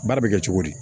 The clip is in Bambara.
Baara bɛ kɛ cogo di